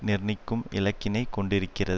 நிர்ணயிக்கும் இலக்கினைக் கொண்டிருக்கிறத்